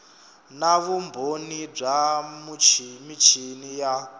na vumbhoni bya michini ya